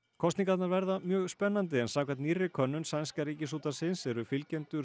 kosningarnar verða mjög spennandi en samkvæmt nýrri könnun sænska Ríkisútvarpsins eru fylgjendur